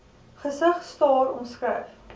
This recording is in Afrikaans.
gesig staar omskryf